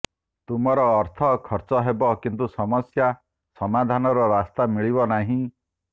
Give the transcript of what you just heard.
ତୁମର ଅର୍ଥ ଖର୍ଚ୍ଚ ହେବ କିନ୍ତୁ ସମସ୍ୟା ସମାଧାନର ରାସ୍ତା ମିଳିବ ନାହିଁ